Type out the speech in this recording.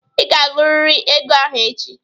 Ị ga-agụrịrị ego ahụ echi!